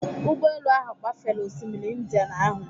Ụgbọelu ahụ gbafere osimiri Indian ahụ.